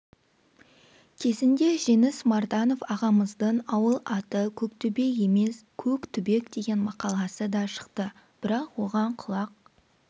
кезінде жеңіс марданов ағамыздың ауыл аты көктөбе емес көктүбек деген мақаласы да шықты бірақ оған құлақ